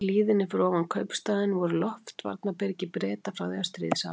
Í hlíðinni fyrir ofan kaupstaðinn voru loftvarnarbyrgi Breta frá því á stríðsárunum.